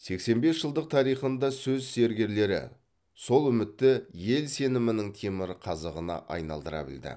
сексен бес жылдық тарихында сөз зергерлері сол үмітті ел сенімінің темір қазығына айналдыра білді